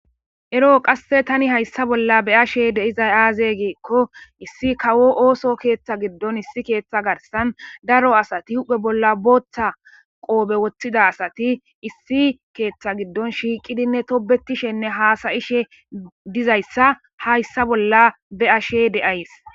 eroo qasse tani hayssa bolla be ashe deizay aaze geekko issi kawo ooso keeththa giddon issi keeththa garsan daro asati huphe bolla booththa qoobe woththida asati issi keeththa giddon shiiqidinne tobetishenne haasayishe dizayssa hayssa bolla be ashe de7ays